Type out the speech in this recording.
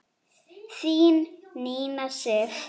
Þín Nína Sif.